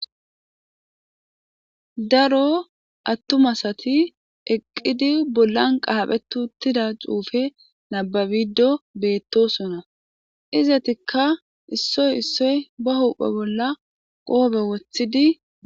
Daro attumasati eqqidi bullan qaaphetuttida xuufe nababido beettosona izatikka issoy issoy ba huphe bolla qoobe wothidi